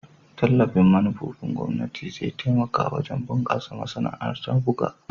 Tallafin manufofin gwamnati zai taimaka wajen bunkasa masana'antar buga.